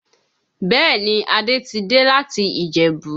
Bẹ́ẹ̀ ni, Adé ti dé láti Ìjẹ̀bú.